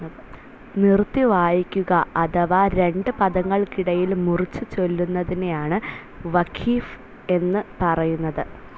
നിറുത്തി വായിക്കുക അഥവാ രണ്ട് പദങ്ങൾക്കിടയിൽ മുറിച്ചു ചൊല്ലുന്നതിനെയാണ് വഖിഫ് എന്നു പറയുന്നത്.